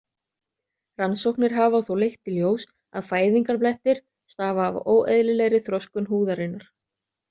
Rannsóknir hafa þó leitt í ljós að fæðingarblettir stafa af óeðlilegri þroskun húðarinnar.